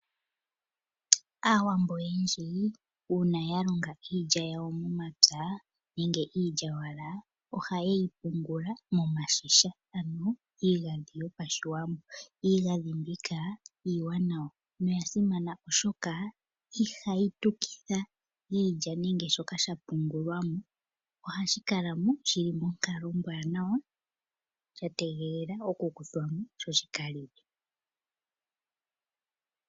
Aawambo oyendji uuna ya longa iilya yawo momapya nenge iilyaalyaaka ohaye yi pungula momashisha ano iigandhi. Iigandhi mbika iiwanawa noya simana, oshoka ihayi tukitha iilya nenge shoka sha pungulwa mo. Ohashi kala mo shi li monkalo ombwaanawa sha tegelela okukuthwa mo sho shi ka liwe.